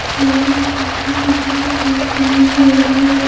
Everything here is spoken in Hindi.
जो भी कॉपी किताब बेचने वाला है।